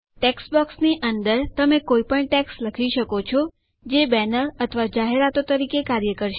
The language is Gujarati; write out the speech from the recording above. ટેક્સ્ટબોક્સની અંદર તમે કઈપણ ટેક્સ્ટ લખી શકો છો જે બેનર અથવા જાહેરાતો તરીકે કાર્ય કરશે